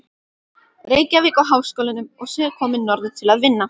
Reykjavík og Háskólanum og sé komin norður til að vinna.